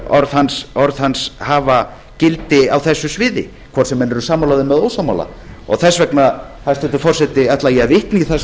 orð hans hafa gildi á þessu sviði hvort sem menn eru sammála þeim eða ósammála þess vegna hæstvirtur forseti ætla ég að vitna í það sem